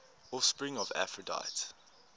offspring of aphrodite